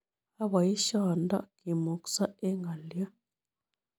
Aboiisiondo kimukso eng' ng'olyoot